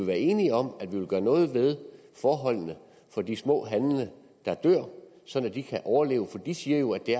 være enige om at vi vil gøre noget ved forholdene for de små handlende der dør så de kan overleve for de siger jo at det